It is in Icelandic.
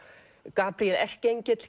Gabríel erkiengill